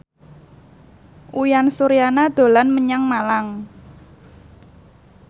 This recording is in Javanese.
Uyan Suryana dolan menyang Malang